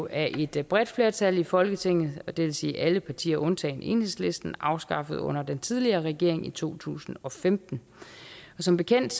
af et bredt flertal i folketinget og det vil sige alle partier undtagen enhedslisten afskaffet under den tidligere regering i to tusind og femten som bekendt